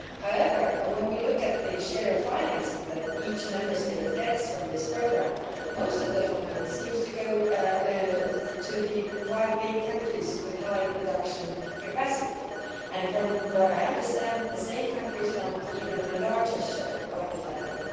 However, when we look at the share of financing that each Member State gets from this programme, most of the funding seems to go to the big five countries with high production capacity and, as I understand it, the same countries want an even larger share of the funding.